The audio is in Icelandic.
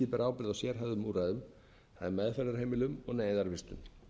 ríkið ber ábyrgð á sérhæfðum úrræðum það er meðferðarheimilum og neyðarvistun